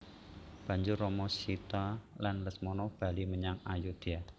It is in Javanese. Banjur Rama Sita lan Lesmana bali menyang Ayodya